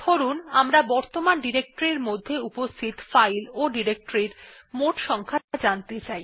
ধরুন আমরা বর্তমান ডিরেক্টরির মধ্যে উপস্থিত ফাইল ও ডিরেক্টরির মোট সংখ্যা জানতে চাই